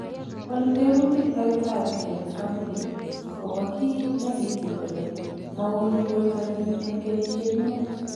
Walu tebutik Takitari James Hamblin ago bo kii negitil kole mouni bortanyin en kenyisiek muut.